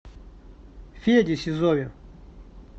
феде сизове